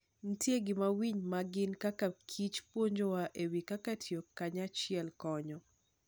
Nitie gima winy ma gin kaka kich puonjowa e wi kaka tiyo kanyachiel konyo.